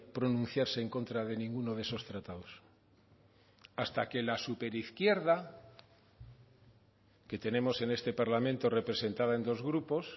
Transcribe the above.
pronunciarse en contra de ninguno de esos tratados hasta que la súper izquierda que tenemos en este parlamento representada en dos grupos